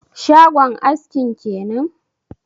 Shagon askin kenan?